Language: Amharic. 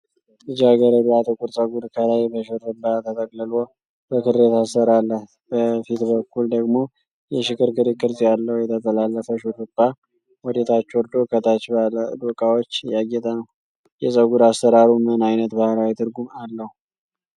ልጃገረዷ ጥቁር ፀጉር ከላይ በሽሩባ ተጠቅልሎ በክር የታሰረ አላት። በፊት በኩል ደግሞ ሽክርክሪት ቅርፅ ያለው የተጠላለፈ ሽሩባ ወደታች ወርዶ ከታች ባለ ዶቃዎች ያጌጠ ነው። የፀጉር አሰራሩ ምን አይነት ባህላዊ ትርጉም አለው?